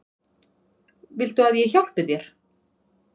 Viltu að ég hjálpi þér?